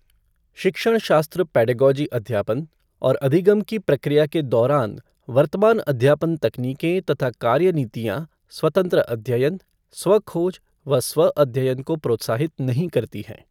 शिक्षण शास्त्र पेडागॉजी अध्यापन और अधिगम की प्रक्रिया के दौरान वर्तमान अध्यापन तकनीकें तथा कार्यनीतियाँ स्वतंत्र अध्ययन, स्वःखोज व स्वःअध्ययन को प्रोत्साहित नहीं करती है।